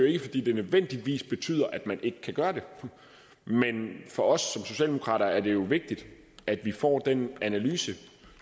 er fordi det nødvendigvis betyder at man ikke kan gøre det men for socialdemokrater er det vigtigt at vi får den analyse